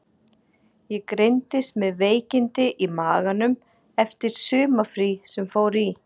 Ég greindist með veikindi í maganum eftir sumarfrí sem fór í.